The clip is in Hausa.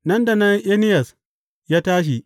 Nan da nan Eniyas ya tashi.